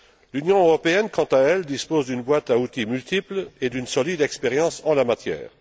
L'Union européenne, quant à elle, dispose d'une boîte à outils multiple et d'une solide expérience en la matière.